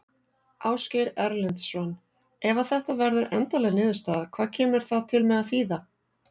Ásgeir Erlendsson: Ef að þetta verður endanleg niðurstaða, hvað kemur það til með að þýða?